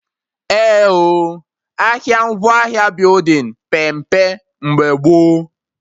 Eh oo, ahịa ngwaahịa building pee mpe mgbe gboo